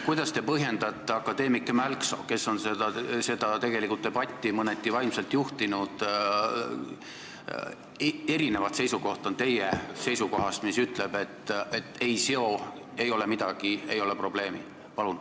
Kuidas te põhjendate akadeemik Mälksoo seisukohta, mis erineb teie seisukohast, et ei seo, ei ole midagi, ei ole probleemi?